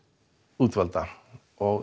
útvalda